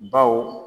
Baw